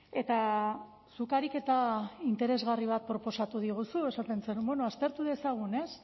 eta zuk ariketa interesgarri bat proposatu diguzu esaten zenuen aztertu dezagun